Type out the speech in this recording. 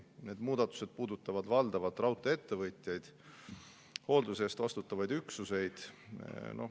Need muudatused puudutavad valdavalt raudtee-ettevõtjaid ja hoolduse eest vastutavaid üksuseid.